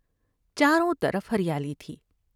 چاروں طرف ہریالی تھی ۔